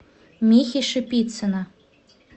михи шипицына